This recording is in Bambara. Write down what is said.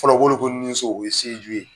Fɔlɔ ko ninso o ye ye.